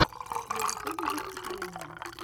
на ютубе выступления